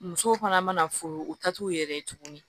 Musow fana mana furu u ta t'u yɛrɛ ye tuguni